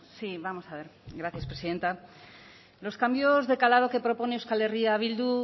sí vamos a ver gracias presidenta los cambios de calado que propone euskal herria bildu